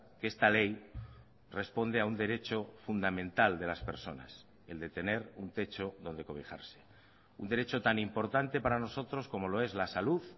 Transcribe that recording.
que esta ley responde a un derecho fundamental de las personas el de tener un techo donde cobijarse un derecho tan importante para nosotros como lo es la salud